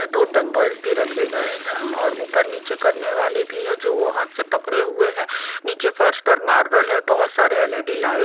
अ दो डंबल्स भी रखे गए हैं और ऊपर नीचे करने वाले भी है जो वो हाथ से पकड़े हुए हैं नीचे फर्स पर मार्बल है बहुत सारे एल_ई_डी लाइट --